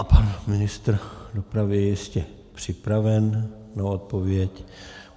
A pan ministr dopravy je jistě připraven na odpověď.